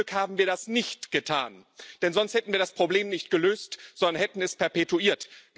Zum Glück haben wir das nicht getan, denn sonst hätten wir das Problem nicht gelöst, sondern wir hätten es perpetuiert.